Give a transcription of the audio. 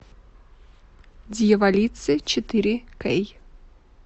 дьяволицы четыре кей